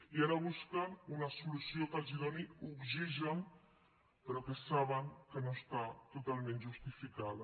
i ara busquen una solució que els doni oxigen però que saben que no està totalment justificada